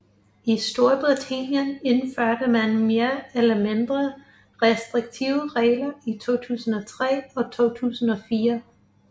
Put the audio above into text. I Storbritannien indførte man mere eller mindre restriktive regler i 2003 og 2004